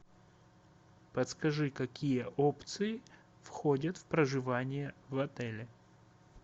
подскажи какие опции входят в проживание в отеле